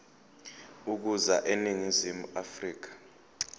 ukuza eningizimu afrika